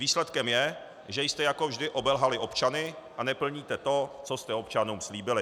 Výsledkem je, že jste jako vždy obelhali občany a neplníte to, co jste občanům slíbili.